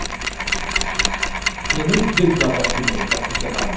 Não precisa nem se deitar para se morrer, para se enterrar, não.